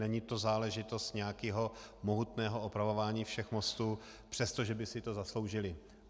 Není to záležitost nějakého mohutného opravování všech mostů, přestože by si to zasloužily.